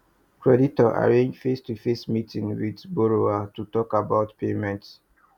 creditor arrange face to face meeting with borrower to talk about payment